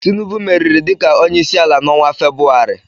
Tinubu meriri dịka onyeisiala n'ọnwa Febrụwarị.